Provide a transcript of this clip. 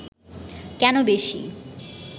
কেন বেশি